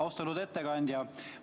Austatud ettekandja!